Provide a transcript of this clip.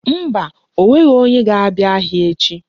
Mba, o nweghi onye ga-abia ahia echi.